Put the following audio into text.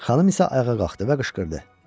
Xanım isə ayağa qalxdı və qışqırdı: